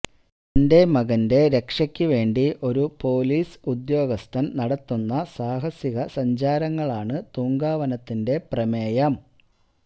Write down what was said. തന്റെ മകന്റെ രക്ഷയ്ക്ക് വേണ്ടി ഒരു പൊലീസ് ഉദ്യോഗസ്ഥന് നടത്തുന്ന സാഹസികസഞ്ചാരങ്ങളാണ് തൂങ്കാവനത്തിന്റെ പ്രമേയം